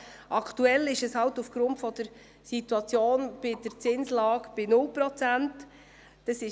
Aktuell sind diese aufgrund der Situation der Zinslage bei 0 Prozent.